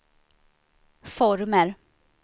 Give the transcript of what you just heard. former